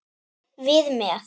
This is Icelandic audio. Við með.